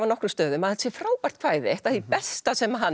nokkrum stöðum að þetta sé frábært kvæði eitt af því besta sem hann